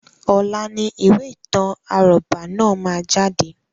Ọ̀la ni ìwé ìtàn àrọ́bá náà má jáde